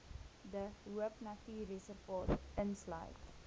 de hoopnatuurreservaat insluit